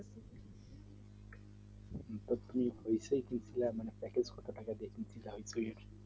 মানে কত টাকা দিয়ে